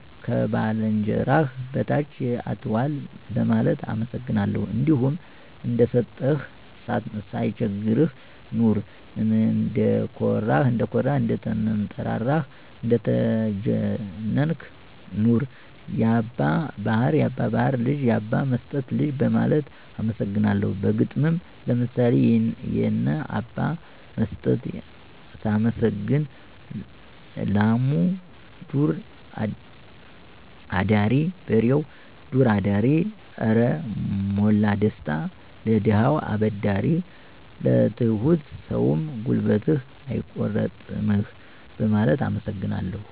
ከባልንጀራህ በታች አትዋል በማለት አመሰግናለሁ። እንዲሁም እንደሰጠህ ሳይቸግርህ ኑር፣ እንደኮራህ፥ እንደተንጠራራህ እንደተጀነንክ ኑር፣ ያባ ባሀር ልጅ፥ ያባ መስጠት ልጅ በማለት አመሰግነዋለሁ። በግጥምም ለምሳሌ የነ አባ መስጠትን ሳመሰግን፦ ላሙ ዱር አዳሪ በሬው ዱር አዳሪ አረ ሞላ ደስታ ለደሀ አበዳሪ። ለትሁት ሰውም ጉልበትህን አይቆርጥምህ በማለት አመሰግነዋለሁ።